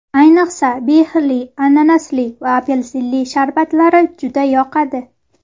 Ayniqsa, behili, ananasli va apelsinli sharbatlari juda yoqadi.